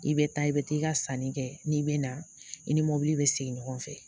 I bɛ taa i bɛ taa i ka sanni kɛ n'i bɛ na i ni mɔbili bɛ sigi ɲɔgɔn fɛ